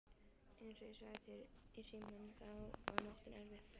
Einsog ég sagði þér í símann þá var nóttin erfið.